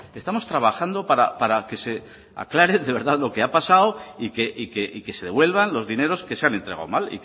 estamos trabajando para que se aclare de verdad lo que ha pasado y que se devuelvan los dineros que se han entregado mal